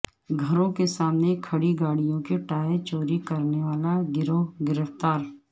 گھروں کے سامنے کھڑی گاڑیوں کے ٹائر چوری کرنے والا گروہ گرفتار